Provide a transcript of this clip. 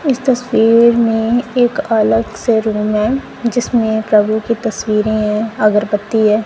इस तस्वीर में एक अलग से रूम है जिसमें प्रभु की तस्वीरें है अगरबत्ती है।